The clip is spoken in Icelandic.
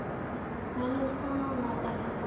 Manuel, hvaða mánaðardagur er í dag?